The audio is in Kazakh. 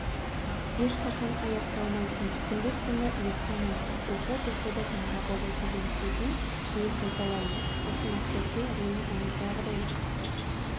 ешқашан аяқталмайтын күндіз-түні ұйықтамайтын оқу-тоқуды таңдап алу деген сөзін жиі қайталаймын сосын актерге рөлін ойдағыдай